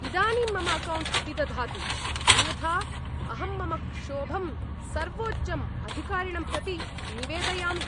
इदानीं मम अकौण्ट् अपिदधातु, अन्यथा अहं मम क्षोभं सर्वोच्चं अधिकारिणं प्रति निवेदयामि।